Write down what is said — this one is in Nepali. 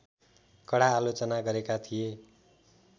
कडा आलोचना गरेका थिए